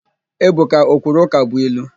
Ebuka o kwuru ụkabụilu?